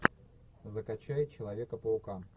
закачай человека паука